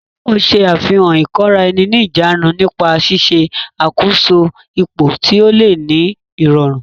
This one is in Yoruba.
Taiwo ṣe àfihàn ìkóra-ẹni-níjàánu nípa ṣíṣe àkóso ipò tí ó le ní ìrọ̀rùn.